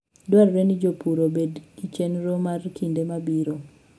Dwarore ni jopur obedgi chenro mar kinde mabiro.